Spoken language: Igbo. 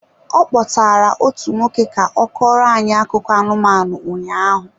Ọ kpọtaara otu nwoke ka ọ kọọrọ anyị akụkọ anụmanụ ụnyaahụ.